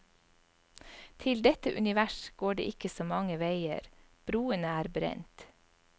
Til dette univers går det ikke så mange veier, broene er brent.